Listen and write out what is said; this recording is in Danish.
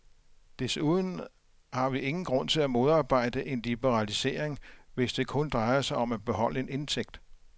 Desuden har vi ingen grund til at modarbejde en liberalisering, hvis det kun drejer sig om at beholde en indtægt.